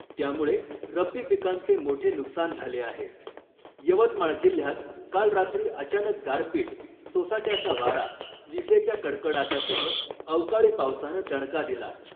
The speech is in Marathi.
त्यामुळे रब्बी पिकांचे मोठे नुकसान झाले आहे, यवतमाळ जिल्ह्यात काल रात्री अचानक गारपीट , सोसाट्याचा वारा , विजेच्या कडकडाटासह अवकाळी पावसानं दणका दिला .